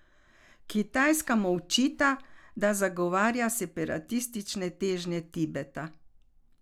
Kitajska mu očita, da zagovarja separatistične težnje Tibeta.